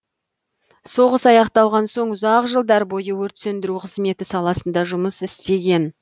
соғыс аяқталған соң ұзақ жылдар бойы өрт сөндіру қызметі саласында жұмыс істеген